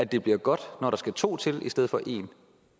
det bliver godt når der skal to til i stedet for én